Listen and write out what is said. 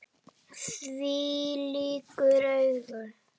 Þvílík augu!